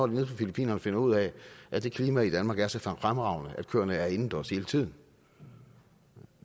nede på filippinerne finder ud af at det klima i danmark er så fremragende at køerne er indendørs hele tiden